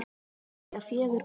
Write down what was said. Þau eiga fjögur börn